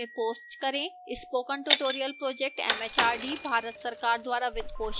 spoken tutorial project mhrd Bharat सरकार द्वारा वित्त पोषित है